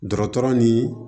Dɔgɔtɔrɔ ni